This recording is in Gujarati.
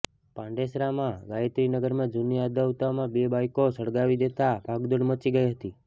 પાંડેસરામાં ગાયત્રીનગરમાં જુની અદાવતમાં બે બાઇકો સળગાવી દેતા ભાગદોડ મચી ગઇ હતી